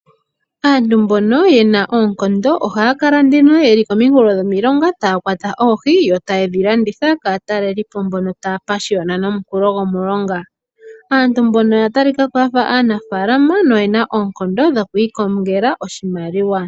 Aantu mbono ye na oonkondo ohaya kala nduno yeli kominkulo dhomilonga taya kwata oohi yo taye dhi landitha kaatalelipo mbono taya pashiyona nomukulo gomulonga. Aantu mbono oya talika ko ya fa aanafaalama noyena oonkondo dhoku ikongela oshimaliwa.